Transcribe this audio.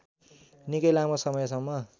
निकै लामो समयसम्म